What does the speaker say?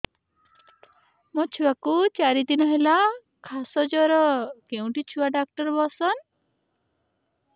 ମୋ ଛୁଆ କୁ ଚାରି ଦିନ ହେଲା ଖାସ ଜର କେଉଁଠି ଛୁଆ ଡାକ୍ତର ଵସ୍ଛନ୍